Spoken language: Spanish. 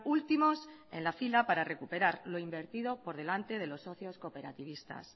últimos en la fila para recuperar lo invertido por delante de los socios cooperativistas